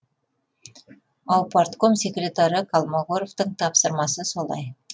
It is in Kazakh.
аупартком секретары колмогоровтың тапсырмасы солай